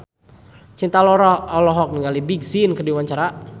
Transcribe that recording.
Cinta Laura olohok ningali Big Sean keur diwawancara